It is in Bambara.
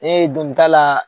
dun t'a la